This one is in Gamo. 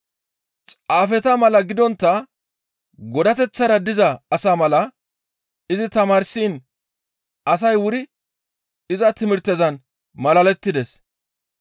Xaafeta mala gidontta godateththara diza asa mala izi tamaarsiin asay wuri iza timirtezan malalettides.